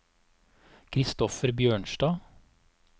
Kristoffer Bjørnstad